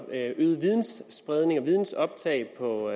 øget videnspredning og vidensbasering på